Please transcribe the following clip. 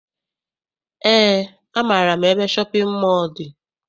Eé, amaara m ebe shọpịn mọọ dị.